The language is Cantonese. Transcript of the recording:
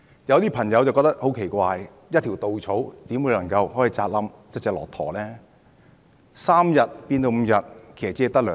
有些朋友會覺得很奇怪，一條稻草怎可能壓垮一隻駱駝呢？